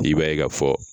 I b'a ye ka fɔ